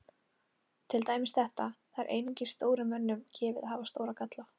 Til dæmis þetta: Það er einungis stórum mönnum gefið að hafa stóra ágalla.